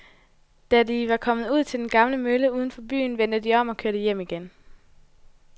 Da de var kommet ud til den gamle mølle uden for byen, vendte de om og kørte hjem igen.